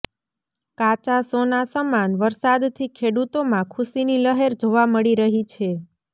કાચા સોના સમાન વરસાદ થી ખેડૂતોમાં ખુશીની લહેર જોવા મળી રહી છે